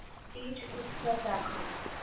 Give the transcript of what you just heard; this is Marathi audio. तीज उत्सव दाखव